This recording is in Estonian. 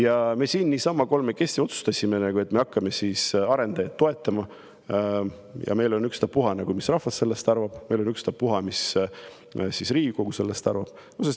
Ent me siin niisama kolmekesi otsustasime, et me hakkame arendajaid toetama, ja meil on ükstapuha, mis rahvas sellest arvab, meil on ükstapuha, mis Riigikogu sellest arvab.